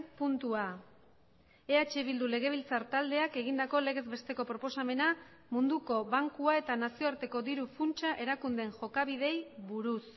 puntua eh bildu legebiltzar taldeak egindako legez besteko proposamena munduko bankua eta nazioarteko diru funtsa erakundeen jokabideei buruz